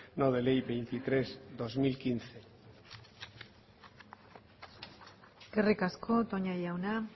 no de ley veintitrés barra dos mil quince eskerrik asko toña jauna